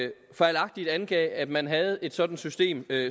fejlagtigt angav at man havde et sådant system